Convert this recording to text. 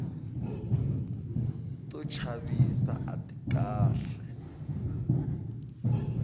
to chavisa ati kahle